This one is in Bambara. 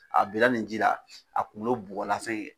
A bila ni ji la, a kunkolo bugɔla